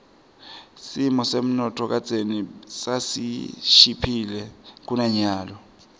simo semnotfo kadzeni sasishiphile kunanyalo